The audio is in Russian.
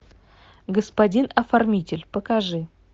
господин оформитель покажи